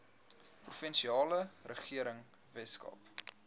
provinsiale regering weskaap